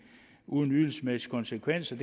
uden ydelsesmæssige konsekvenser